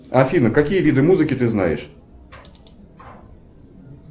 афина какие виды музыки ты знаешь